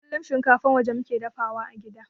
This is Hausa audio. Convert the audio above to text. Kullun shinkafan waje muke dafawa a gida